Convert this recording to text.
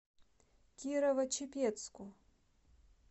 кирово чепецку